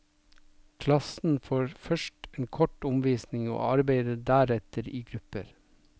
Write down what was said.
Klassen får først en kort omvisning og arbeider deretter i grupper.